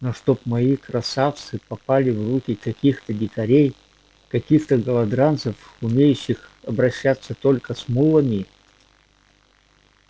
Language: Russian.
но чтоб мои красавцы попали в руки каких-то дикарей каких-то голодранцев умеющих обращаться только с мулами